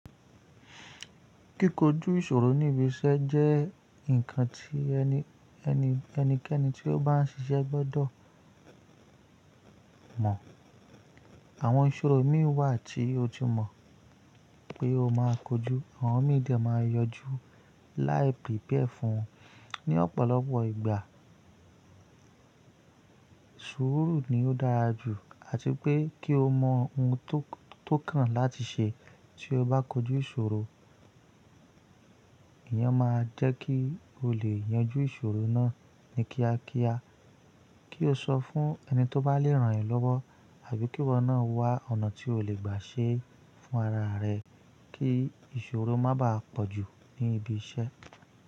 Kíkó jú ìṣòro ní ibi iṣẹ́ jẹ́ ǹkan tí ẹnikẹ́ni tí ó bá ń ṣiṣẹ́ gbọ́dọ̀ mọ̀. Àwọn ìṣòro mí wà tí o ti mọ̀ pé o máa kójú, àwọn mí dẹ máa yọjú láì prepare fún wọn. Ni ọ̀pọ̀lọpọ̀ ìgbà, sùúrù ni ó dára jù àti pé kí o mọ ohun tó kàn láti ṣe tí o bá kójú ìṣòro. Ìyẹn máa jẹ́ kí o lè yanjú ìṣòro náà ní kíákíá. Kí o sọ fún ẹni tó bá leè rán yẹn lọ́wọ́ àbí kí ìwọ náà wá ọ̀nà tí o lè gbà ṣe fún ara rẹ kí ìṣòro má baà pọ̀jù ní ibi iṣẹ́.